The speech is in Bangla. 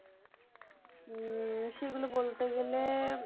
হম সেগুলো বলতে গেলে